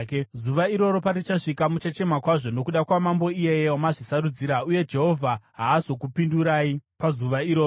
Zuva iroro parichasvika muchachema kwazvo nokuda kwamambo iyeye wamazvisarudzira, uye Jehovha haazokupindurai pazuva iroro.”